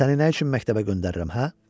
Səni nə üçün məktəbə göndərirəm, hə?